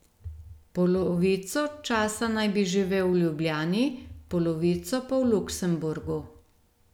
Polovico časa naj bi živel v Ljubljani, polovico pa v Luksemburgu.